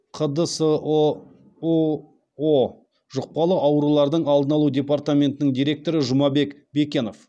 қдсоұо жұқпалы аурулардың алдын алу департаментінің директоры жұмабек бекенов